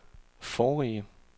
forrige